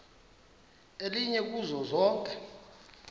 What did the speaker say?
elinye kuzo zonke